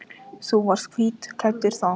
Þú varst hvítklæddur þá.